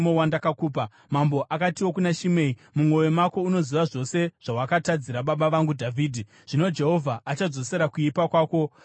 Mambo akatiwo kuna Shimei, “Mumwoyo mako unoziva zvose zvawakatadzira baba vangu Dhavhidhi. Zvino Jehovha achadzosera kuipa kwako pamusoro pako.